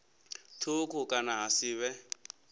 thukhu kana ha si vhe